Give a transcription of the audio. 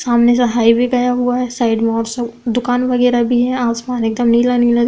सामने से हाईवे गया हुआ है। साइड में और सब दुकान वगैरा भी हैं। आसमान एकदम नीला नीला दिख --